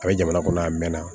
A bɛ jamana kɔnɔ a mɛnna